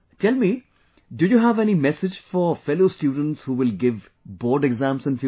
Tell me, do you have any message for fellow students who will give Board Exams in future